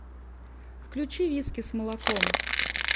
включи виски с молоком